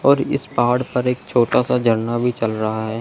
और इस पहाड़ पर एक छोटा सा झरना भी चल रहा है।